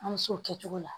An bɛ se o kɛ cogo la